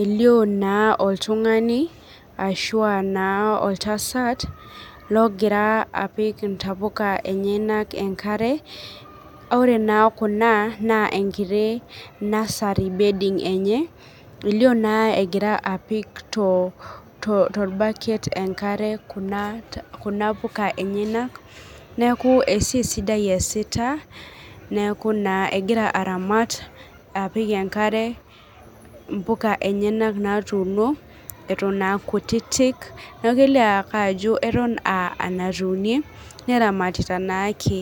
Elio naa oltungani ashu aa naa oltasat logira apik intapuka enyanak enkare, ore naa kuna naa enkiti nursary bedding enye, elio egira apik tolbaket enkare kuna puka enyanak. Neeku esiai sidai easita, neeku naa egira aramat apik enkare imbuka enyanak natuuno eton aa kutiti, neeku kelio ake ajo aton aa enatuunie neramatita naake.